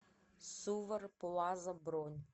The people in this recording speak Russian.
сувар плаза бронь